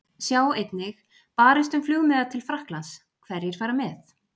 Sjá einnig: Barist um flugmiða til Frakklands- Hverjir fara með?